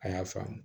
A y'a faamu